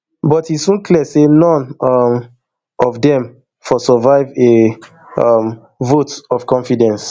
but e soon clear say none um of dem for survive a um vote of confidence